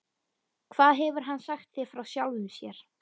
Hvað hefur hann sagt þér frá sjálfum sér?